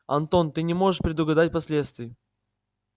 антон ты не можешь предугадать последствий